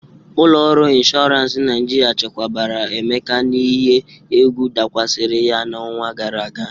Ụlọ ọrụ ịnshọransị Naịjirịa chekwabara Emeka n'ihe egwu dakwasịrị ya n'ọnwa gara aga.